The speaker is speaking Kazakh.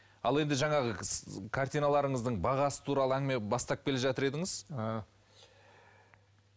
ал енді жаңағы картиналарыңыздың бағасы туралы әңгіме бастап келе жатыр едіңіз ы